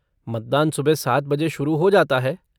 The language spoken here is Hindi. मतदान सुबह सात बजे शुरु हो जाता है।